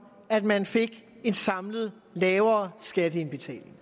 at man fik en samlet lavere skatteindbetaling